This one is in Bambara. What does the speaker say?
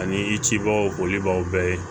Ani i cibɔlibaw bɛɛ ye